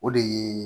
O de ye